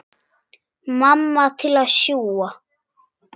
Mamma til að sjúga.